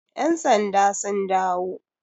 yansandan sun dawo?